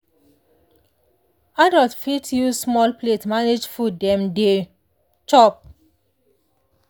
adult fit use small plate manage food dem dey chop.